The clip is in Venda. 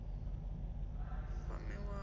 a d o kwamiwa u